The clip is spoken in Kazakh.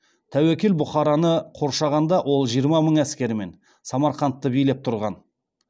тәуекел бұхараны қоршағанда ол жиырма мың әскерімен самарқандты билеп тұрған